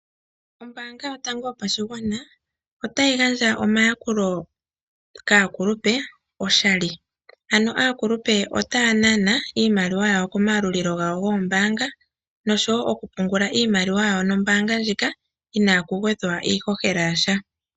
Ombaanga yotango yopashigwana otayi gandja omayakulo kaakulupe oshali, mboka taya nana iimaliwa yawo komayalulilo gawo gombaanga nosho wo okupungula iimaliwa nombaanga ndjika i na kugwedhwa iihohela yasha.